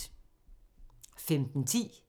15:10: